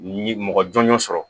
Mɔgɔ jɔnjɔn sɔrɔ